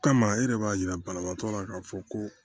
Kama e yɛrɛ b'a yira banabaatɔ la k'a fɔ ko